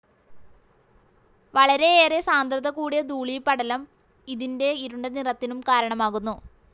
വളരെയേറെ സാന്ദ്രത കൂടിയ ധൂളീപടലം ഇതിൻ്റെ ഇരുണ്ട നിറത്തിനും കാരണമാകുന്നു.